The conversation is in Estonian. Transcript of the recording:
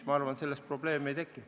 Ma arvan, et sellest probleemi ei teki.